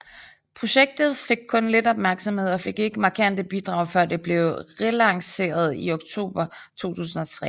Projektet fik kun lidt opmærksomhed og fik ikke markante bidrag før det blev relanceret i oktober 2003